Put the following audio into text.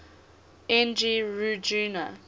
n g rjuna